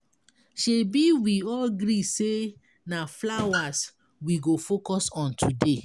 Shebi we all gree say na flowers we go focus on today.